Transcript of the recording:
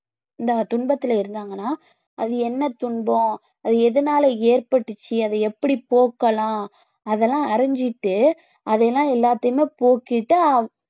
இந்த துன்பத்தில இருந்தாங்கன்னா அது என்ன துன்பம் அது எதனால ஏற்பட்டுச்சு அதை எப்படி போக்கலாம் அது எல்லாம் அறிஞ்சிட்டு அதை எல்லாம் எல்லாத்தையுமே போக்கிட்டு அஹ்